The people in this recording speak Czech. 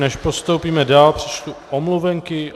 Než postoupíme dál, přečtu omluvenky.